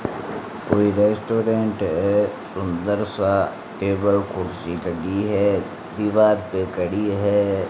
कोई रेस्टोरेंट है सुंदर सा टेबल कुर्सी लगी है दीवार पे खड़ी है।